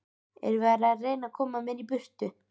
Er verið að reyna að koma mér í burtu?